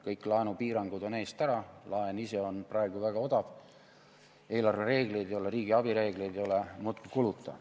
Kõik laenupiirangud on eest ära, laen ise on praegu väga odav, eelarvereegleid ei ole, riigiabi reegleid ei ole – muudkui kuluta.